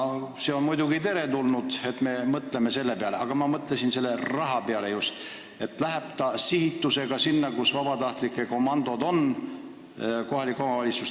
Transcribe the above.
See on muidugi teretulnud, et me mõtleme ka selle peale, aga kas poleks hea, kui see raha läheks sihitusega nende kohalike omavalitsuste kätte, kus vabatahtlike komandod on?